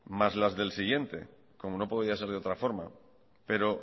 más las del siguiente como no podía ser de otra forma pero